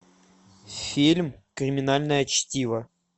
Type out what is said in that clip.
фильм криминальное чтиво